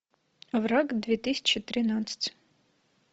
враг две тысячи тринадцать